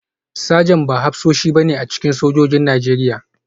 Sajan ba hafsoshi ba ne a cikin sojojin Najeriya